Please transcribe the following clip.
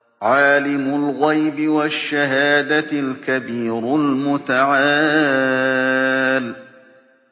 عَالِمُ الْغَيْبِ وَالشَّهَادَةِ الْكَبِيرُ الْمُتَعَالِ